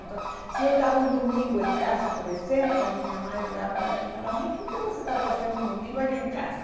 Então, se eu estava um domingo em casa, por exemplo, a minha mãe olhava para mim e falava, mas o que que você está fazendo um domingo aqui em casa?